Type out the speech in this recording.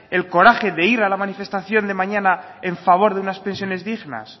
el coraje de ir a la manifestación de mañana en favor de unas pensiones dignas